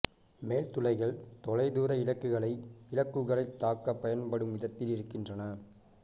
மேல் துளைகள் தொலைதூர இலக்குகளை இலக்குகளைத் தாக்க பயன்படும்வித்ததில் இருக்கின்றன